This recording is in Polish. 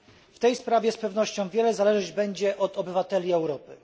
W tej sprawie z pewnością wiele zależeć będzie od obywateli Europy.